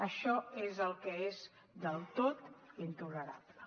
això és el que és del tot intolerable